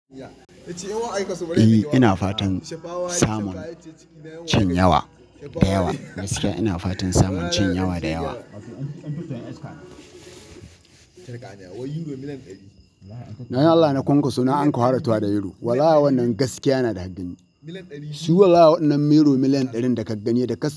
Eh ina fatan samun cin yawa da yawa. Gaskiya ina fatan samun cin yawa da yawa. Na yi Allah na kwankwaso nan anka fara tahowa da Euro. Wallahi wannan gaskiya na da Shi wallahi waɗannan Euro miliyan ɗarin da ka gani da ka-